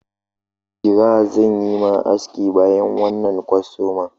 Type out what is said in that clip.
Jira zan yi ma aski bayan wannan kwastaman.